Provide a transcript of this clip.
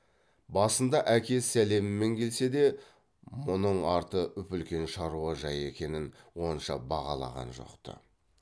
басында әке сәлемімен келсе де мұның арты үп үлкен шаруа жайы екенін онша бағалаған жоқ ты